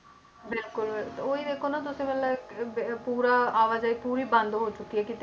ਬਿਲਕੁਲ ਉਹੀ ਦੇਖੋ ਨਾ ਤੁਸੀਂ ਮਤਲਬ ਅਹ ਬ~ ਪੂਰਾ ਆਵਾਜਾਈ ਪੂਰੀ ਬੰਦ ਹੋ ਚੁੱਕੀ ਹੈ ਕਿਤੇ,